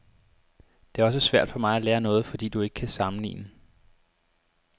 Det er også svært for mig at lære noget, fordi du ikke kan sammenligne.